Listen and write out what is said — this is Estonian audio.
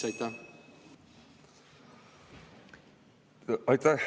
Aitäh!